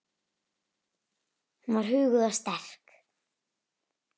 Hún var huguð og sterk.